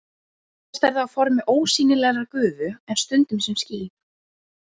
Oftast er það á formi ósýnilegrar gufu en stundum sem ský.